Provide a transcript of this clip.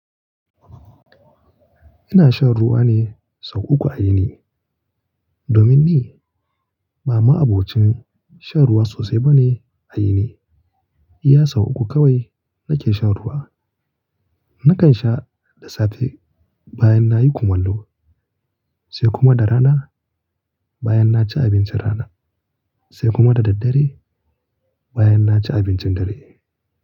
Ina shan ruwa ne sau uku a yini. Domin ni ba ma'abocin shan ruwa sosai ba ne a yini. Iya sau uku kawai nake shan ruwa. Nakan sha da safe bayan nayi kumallo, sai kuma da rana bayan naci abincin rana, sai kuma da daddare bayan naci abincin dare.